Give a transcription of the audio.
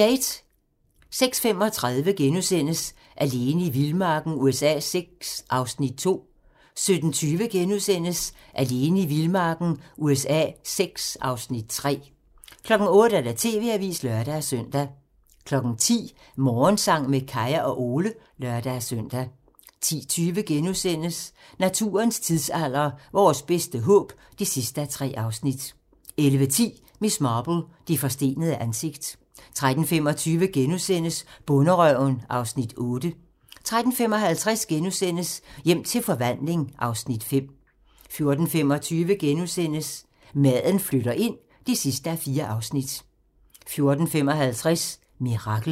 06:35: Alene i vildmarken USA VI (Afs. 2)* 07:20: Alene i vildmarken USA VI (Afs. 3)* 08:00: TV-avisen (lør-søn) 10:00: Morgensang med Kaya og Ole (lør-søn) 10:20: Naturens tidsalder - Vores bedste håb (3:3)* 11:10: Miss Marple: Det forstenede ansigt 13:25: Bonderøven (Afs. 8)* 13:55: Hjem til forvandling (Afs. 5)* 14:25: Maden flytter ind (4:4)* 14:55: Mirakel